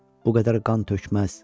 Bu qədər qan tökməz.